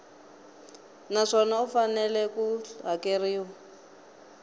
naswona u fanele ku hakeriwa